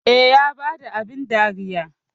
Eh, Ya bada abin dariyar